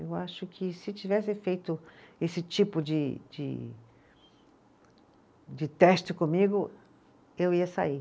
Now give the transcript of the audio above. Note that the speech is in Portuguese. Eu acho que se tivesse feito esse tipo de de de teste comigo, eu ia sair.